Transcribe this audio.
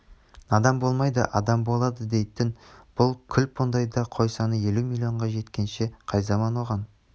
надан болмайды адам болады дейтін бұл күлп ондайда қой саны елу миллионға жеткенше қай заман оған